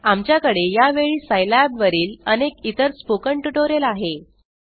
आमच्या कडे या वेळी सिलाब वरील अनेक इतर स्पोकन ट्युटोरियल आहे